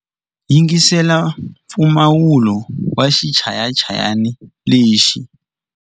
Yingisela mpfumawulo wa xichayachayani lexi.